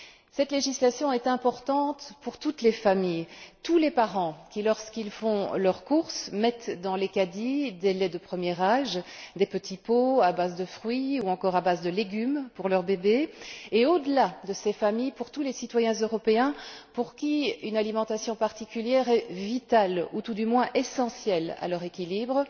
Cette législation est importante pour toutes les familles, tous les parents qui, lorsqu'ils font leurs courses, mettent dans les caddys des laits de premier âge, des petits pots à base de fruits ou encore à base de légumes pour leur bébé et, au delà de ces familles, pour tous les citoyens européens pour qui une alimentation particulière est vitale ou, tout du moins, essentielle à leur équilibre.